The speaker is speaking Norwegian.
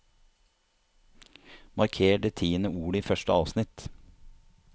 Marker det tiende ordet i første avsnitt